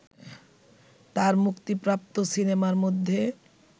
তার মুক্তিপ্রাপ্ত সিনেমার মধ্যে